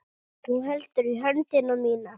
Þú heldur í höndina mína.